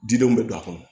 Didenw bɛ don a kɔnɔ